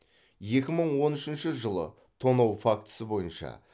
екі мың он үшінші жылы тонау фактісі бойынша